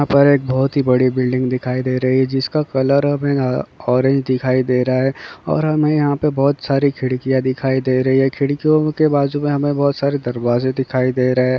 यहाँ पर एक बहुत ही बड़ी बिल्डिंग दिखाई दे रही हैं जिसका कलर हमें ऑरेंज दिखाई दे रहा हैं। और हमें यहाँ पर बहुत सारी खिडकिय दिखाई दे रही हैं। खिडकियों के बाजु में हमे बहुत सारे दरवाजे दिखाई दे रहे हैं।